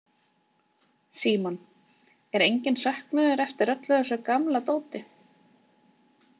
Símon: Er enginn söknuður eftir öllu þessu gamla dóti?